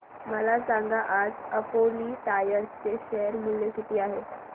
मला सांगा आज अपोलो टायर्स चे शेअर मूल्य किती आहे